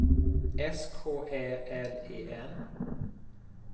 S K Ä L E N